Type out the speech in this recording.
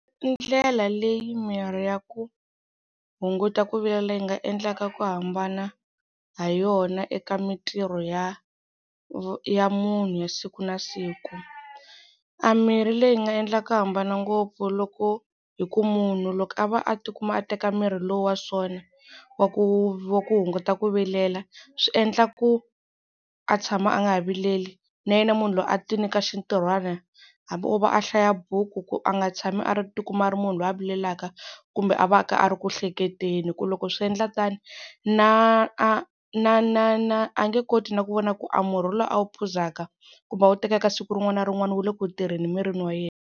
I ndlela leyi mimirhi ya ku hunguta ku vilela yi nga endlaka ku hambana ha yona eka mintirho ya ya munhu ya siku na siku. A mirhi leyi nga endla ku hambana ngopfu loko hi ku munhu loko a va a tikuma a teka mirhi lowu wa sona wa ku wa ku hunguta ku vilela swi endla ku a tshama a nga vileli. Na yena munhu loyi a ti nyika xintirhwana hambi o va a hlaya buku ku a nga tshami a ri tikuma a ri munhu loyi a vilelaka kumbe a va ka a ri ku hleketeni, hi ku loko swi endla tano na na na na a nge koti na ku vona ku a murhi lowu a wu phuzaka kumbe a wu tekaka siku rin'wana na rin'wana wu le ku tirheni emirini wa yena.